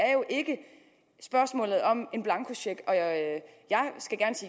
er jo ikke spørgsmålet om en blankocheck jeg at